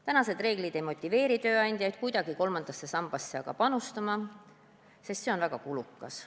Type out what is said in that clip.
Praegused reeglid ei motiveeri aga tööandjaid kuidagi kolmandasse sambasse panustama, sest see on väga kulukas.